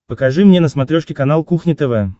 покажи мне на смотрешке канал кухня тв